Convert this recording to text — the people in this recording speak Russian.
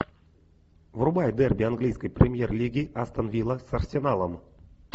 врубай дерби английской премьер лиги астон вилла с арсеналом